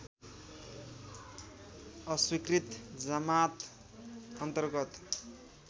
अस्वीकृत जमात अन्तर्गत